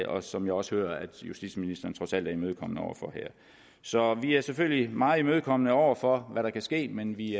og som jeg også hører at justitsministeren trods alt er imødekommende over for her så vi er selvfølgelig meget imødekommende over for hvad der kan ske men vi